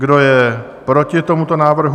Kdo je proti tomuto návrhu?